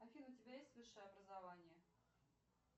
афина у тебя есть высшее образование